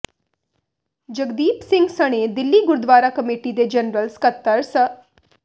ਜਗਦੀਪ ਸਿੰਘ ਸਣੇ ਦਿੱਲੀ ਗੁਰਦਵਾਰਾ ਕਮੇਟੀ ਦੇ ਜਨਰਲ ਸਕੱਤਰ ਸ